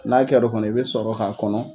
N'a kɛr'o kɔni i bɛ sɔrɔ k'a kɔnɔ.